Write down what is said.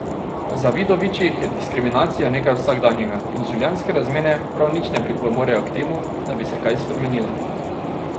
V Zavidovićih je diskriminacija nekaj vsakdanjega in življenjske razmere prav nič ne pripomorejo k temu, da bi se kaj spremenilo.